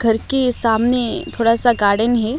घर के सामने थोड़ा सा गार्डन है।